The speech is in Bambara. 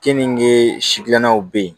Keninge si gilannaw be yen